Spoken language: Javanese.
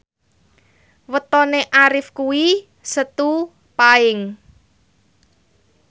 wetone Arif kuwi Setu Paing